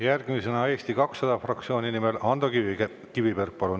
Järgmisena Eesti 200 fraktsiooni nimel Ando Kiviberg, palun!